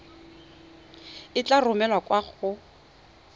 e tla romelwa kwa go